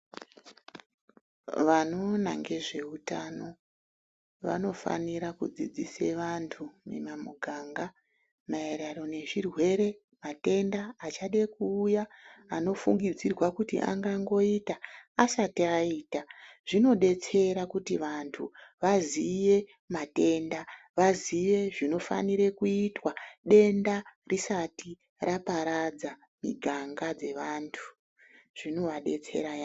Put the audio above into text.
Vanoona ngezveutano vanofanira kudzidzise vantu kupinda mumiganga maererano nezverwere matenda achade kuuya ,anofungidzirwe kuti angangoita asati aita, zvinodetsera kuti vantu vaziye matenda ,vaziye zvinofanire kuitwa denda risati raparadza miganga dzevantu ,zvinovadetsera yamho.